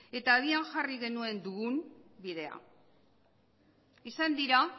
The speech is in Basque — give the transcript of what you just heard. eta agian jarri genuen dugun bidea izan dira